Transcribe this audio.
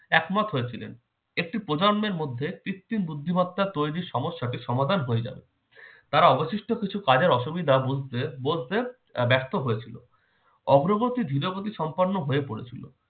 একমত হয়েছিলেন। একটি প্রজন্মের মধ্যে কৃত্রিম বুদ্ধিমত্তা তৈরির সমস্যাটি সমাধান হয়ে যাবে। তারা অবশিষ্ট কিছু কাজের অসুবিধা বুঝতে বোঝতে ব্যর্থ হয়েছিল। অগ্রগতি ধীরগতি সম্পন্ন হয়ে পড়েছিল।